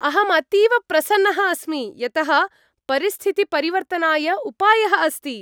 अहम् अतीव प्रसन्नः अस्मि यतः परिस्थितिपरिवर्तनाय उपायः अस्ति।